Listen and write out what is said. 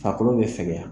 Farikolo bɛ fɛgɛya